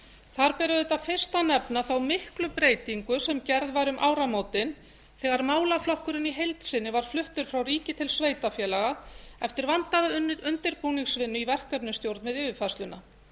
þar ber auðvitað fyrst að nefna þá miklu breytingu sem gerð var um áramótin þegar málaflokkurinn í heild sinni var fluttur frá ríki til sveitarfélaga eftir vandaða undirbúningsvinnu í verkefnastjórnun við yfirfærsluna